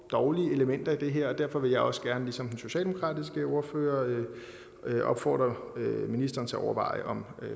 dårlige elementer i det her er derfor vil jeg også gerne ligesom den socialdemokratiske ordfører opfordre ministeren til at overveje om